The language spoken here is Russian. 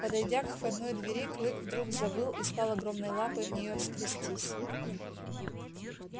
подойдя к входной двери клык вдруг завыл и стал огромной лапой в неё скрестись